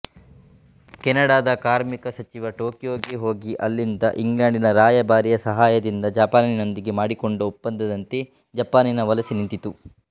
ಕೆನಡದ ಕಾರ್ಮಿಕ ಸಚಿವ ಟೋಕಿಯೋಗೆ ಹೋಗಿ ಅಲ್ಲಿದ್ದ ಇಂಗ್ಲೆಂಡಿನ ರಾಯಭಾರಿಯ ಸಹಾಯದಿಂದ ಜಪಾನಿನೊಂದಿಗೆ ಮಾಡಿಕೊಂಡ ಒಪ್ಪಂದದಂತೆ ಜಪಾನಿನ ವಲಸೆ ನಿಂತಿತು